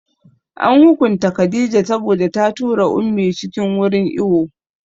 An hukunta Khadijah saboda ta tura Ummi cikin wurin iwo